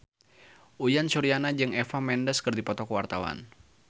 Uyan Suryana jeung Eva Mendes keur dipoto ku wartawan